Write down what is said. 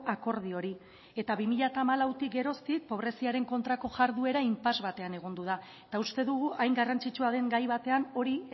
akordio hori eta bi mila hamalautik geroztik pobreziaren kontrako jarduera impasse batean egon da eta uste dugu hain garrantzitsua den gai batean hori